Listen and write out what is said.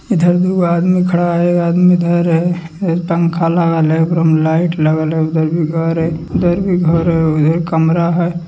इधर दुगो आदमी खड़ा हेय एक आदमी इधर हेय पंखा लागल हेय ओकरा में लाइट लगल हेय उधर भी घर हेय इधर भी घर हेय उधर कमरा हेय।